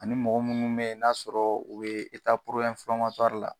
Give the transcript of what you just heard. Ani mɔgɔ munnu be yen n'a sɔrɔ u be la.